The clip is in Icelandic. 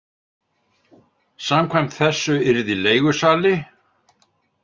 Samkvæmt þessu yrði leigusali.